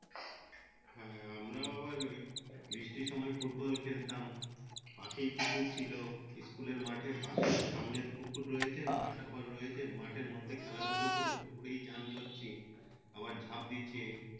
হ্যাঁ আমারাও ওই বৃষ্টির সময় ফুটবল খেলতাম পাশেই পুকুর ছিলো collage র মাঠ পাশে সামনে পুকুর রয়েছে মাঠের আবার রয়েছে মাঠের মধ্যে খেলা ধুলো করে পুকুরেই চান করছি আবার ঝাপ দিচ্ছি এই